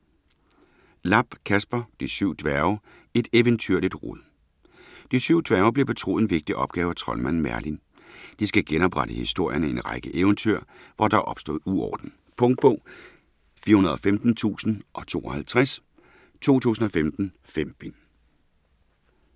Lapp, Kasper: De syv dværge: et eventyrligt rod De syv dværge bliver betroet en vigtig opgave af troldmanden Merlin. De skal genoprette historierne i en række eventyr, hvor der er opstået uorden. Punktbog 415052 2015. 5 bind.